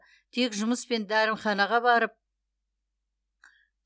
тек жұмыс пен дәріханаға барып